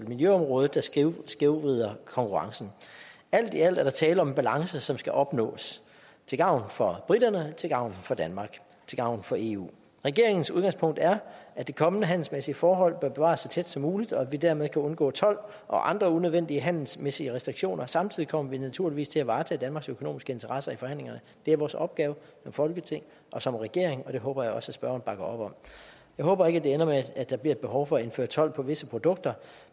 miljøområdet der skævvrider skævvrider konkurrencen alt i alt er der tale om en balance som skal opnås til gavn for briterne til gavn for danmark til gavn for eu regeringens udgangspunkt er at det kommende handelsmæssige forhold bør bevares så tæt som muligt og at vi dermed kan undgå told og andre unødvendige handelsmæssige restriktioner samtidig kommer vi naturligvis til at varetage danmarks økonomiske interesser i forhandlingerne det er vores opgave som folketing og som regering og det håber jeg også at spørgeren bakker op om jeg håber ikke det ender med at der bliver et behov for at indføre told på visse produkter